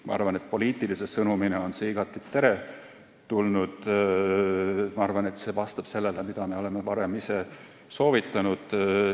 Ma arvan, et poliitilise sõnumina on see igati teretulnud – see vastab sellele, mida me oleme varem ise soovitanud.